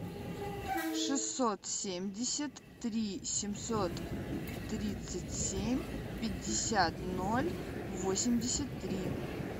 шестьсот семьдесят три семьсот тридцать семь пятьдесят ноль восемьдесят три